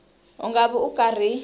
u nga vi u karhi